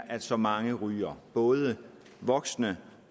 at så mange ryger både voksne